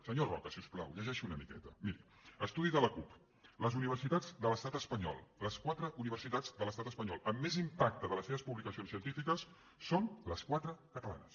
senyor roca si us plau llegeixi una miqueta miri estudi de l’acup les universitats de l’estat espanyol les quatre universitats de l’estat espanyol amb més impacte de les seves publicacions científiques són les quatre catalanes